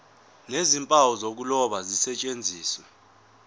nezimpawu zokuloba zisetshenziswe